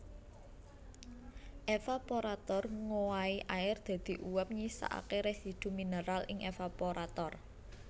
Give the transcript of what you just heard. Evaporator ngowahi air dadi uap nyisakake residu mineral ing evaporator